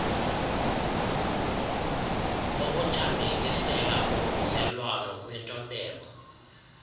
ukuthambekisela kuvumelwano kwintobeko